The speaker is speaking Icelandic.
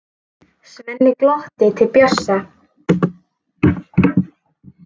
Svenni glottir til Bjössa.